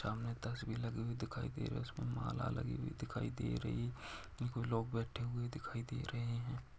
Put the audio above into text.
सामने तस्वीर लगी हुई दिखाई दे रही है उसमे माला लगी हुई देखी दे रही कुछ लोग बेठे हुए दिखाई दे रहे है।